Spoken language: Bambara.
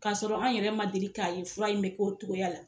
K'a sɔrɔ an yɛrɛ ma deli k'a ye fura in be k'o togoya la